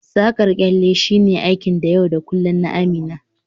Saƙar kyalle shine aikin yau da kullun na Amina